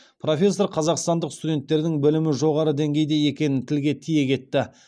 профессор қазақстандық студенттердің білімі жоғары деңгейде екенін тілге тиек етті